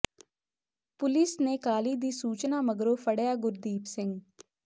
police ਨੇ ਕਾਲੀ ਦੀ ਸੂਚਨਾ ਮਗਰੋਂ ਫੜਿ੍ਹਆ ਗੁਰਦੀਪ ਸਿੰਘ